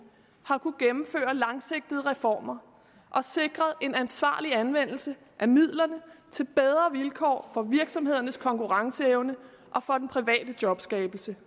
har langsigtede reformer og sikret en ansvarlig anvendelse af midlerne til bedre vilkår for virksomhedernes konkurrenceevne og for den private jobskabelse